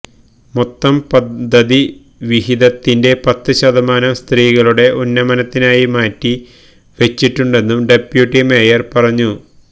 മൊത്തം പദ്ധതി വിഹിതത്തിന്റെ പത്ത് ശതമാനം സ്ത്രീകളുടെ ഉന്നമനത്തിനായി മാറ്റി വെച്ചിട്ടുണ്ടെന്നും ഡെപ്യൂട്ടി മേയര് പറഞ്ഞു